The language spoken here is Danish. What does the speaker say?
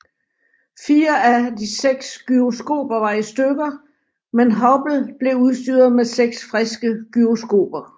Fire af de seks gyroskoper var i stykker men Hubble blev udstyret med seks friske gyroskoper